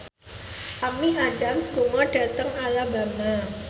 Amy Adams lunga dhateng Alabama